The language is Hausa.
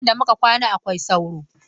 Gidan da muka kwana akwai sauro.